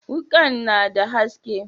wukan na da haske.